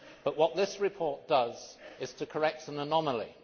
What this report does is to correct an anomaly.